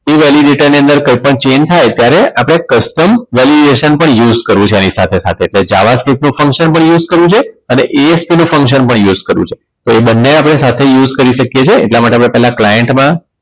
એ validity ની અંદર કોઈપણ change થાય ત્યારે આપણે custom valuation પણ use કરવું છે આની સાથે સાથે તો java stick નું function પણ use કરવું છે અને ASP નું function પણ use કરવું છે તો એ બંને આપણે સાથે use કરી શકીએ છીએ એટલા માટે પહેલા આપણે client માં